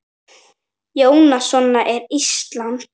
Jónas: Svona er Ísland?